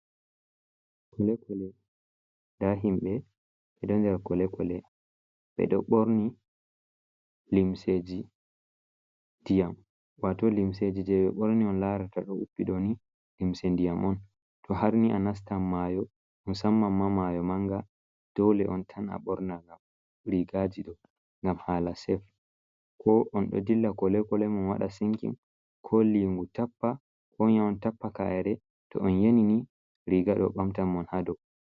Kole kole nda himɓɓe ɓeɗo nder kole kole, ɓe ɗo ɓorni limseji ndiyam wato limseji je ɓe ɓorni on larata ɗo uppi ɗoni limse ndiyam on, to harni a nastan mayo on sannan ma mayo manga dole on tan a ɓorna ngam rigaji ɗo, ngam hala sef ko on ɗo dilla kole kole mam waɗa sinkin, ko lingu tappa, ko on ya on tappa kaere, to on yenini riga ɗo ɓamtan mon ha dou.